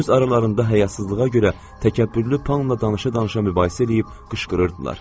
Öz aralarında həyasızlığa görə təkəbbürlü Panla danışa-danışa mübahisə eləyib qışqırırdılar.